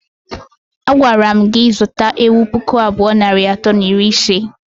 Agwara mụ gị zụta ewụ pụkụ abụọ nari atọ na iri ise!!!!!